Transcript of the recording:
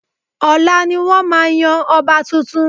Ọ̀la ni wọ́n máa yan ọba tuntun